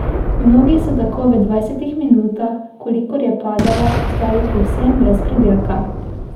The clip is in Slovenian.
Mnogi so tako v dvajsetih minutah, kolikor je padala, ostali povsem brez pridelka.